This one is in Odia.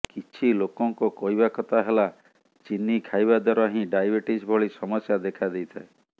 କିଛି ଲୋକଙ୍କ କହିବା କଥା ହେଲା ଚିନି ଖାଇବାଦ୍ୱାରା ହିଁ ଡାଇବେଟିସ୍ ଭଳି ସମସ୍ୟା ଦେଖା ଦେଇଥାଏ